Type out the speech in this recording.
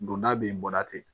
Don n'a bɛ bɔra ten